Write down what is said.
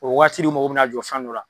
O wagati de mɔgɔ be na jɔ fɛn dɔ la.